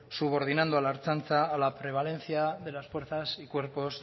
subordinando a la ertzaintza a la prevalencia de las fuerzas y cuerpos